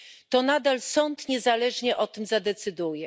To nadal sąd niezależnie o tym zadecyduje.